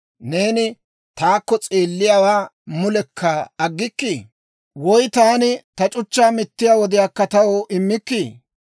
Neeni taakko s'eelliyaawaa mulekka aggikkii? Woy taani ta c'uchchaa mittiyaa wodiyaakka taw immikkii?